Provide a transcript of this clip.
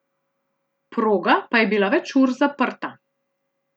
Proga pa je bila več ur zaprta.